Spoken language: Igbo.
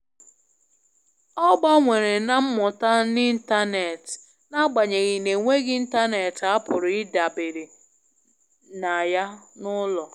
Ọ gbanwere na mmụta n'ịntanetị n'agbanyeghị n'enweghị ịntanetị a pụrụ ịdabere na ya n'ụlọ.